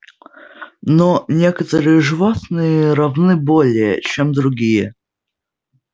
но некоторые животные равны более чем другие